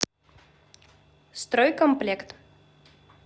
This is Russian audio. стройкомплект